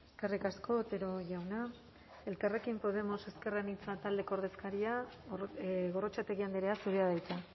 eskerrik asko otero jauna elkarrekin podemos ezker anitza taldeko ordezkaria gorrotxategi andrea zurea da hitza